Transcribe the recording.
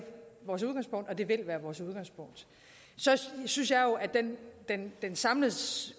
og vil det være vores udgangspunkt så synes jeg jo at den den samlede